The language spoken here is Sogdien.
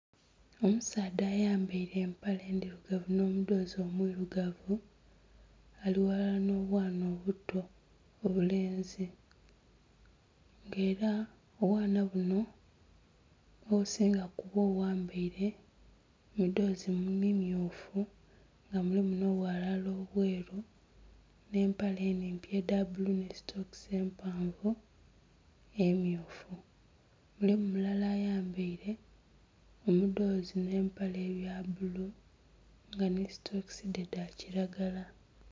Omusaadha ayambaire empale ndhirugavu nho mudhozi omwirugavu ali ghalala nho bwaana obuto obulenzi nga era obwaana buno obusinga bwambaire emidhoozi mimyufu nga mulimu nho obwalala obweeru nhe empale enhimpi edha bbulu nhi sitokisi empanvu emyufu. Mulimu mulala ayambaire omudhoozi nhe empale ebya bbulu nga nhi sitokisi dhe dha kilagala.